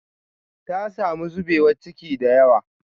Ta samu zubewa ciki da yawa